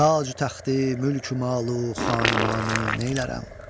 Tacü təxti mülkü malı xanimanı neylərəm.